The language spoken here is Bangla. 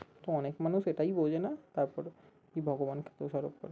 তো অনেক মানুষ এটাই বোঝে না তারপরে কি ভগবানকে দোষারোপ